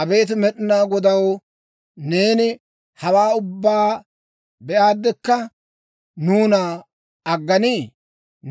Abeet Med'inaa Godaw, neeni hawaa ubbaa be'aadekka nuuna agganii?